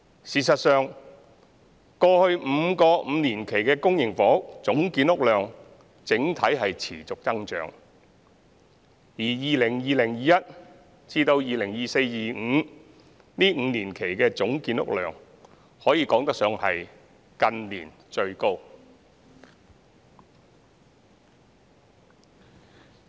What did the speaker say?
事實上，過去5個5年期的公營房屋總建屋量整體見持續增長，而 2020-2021 年度至 2024-2025 年度這5年期的總建屋量可以說是近年最高。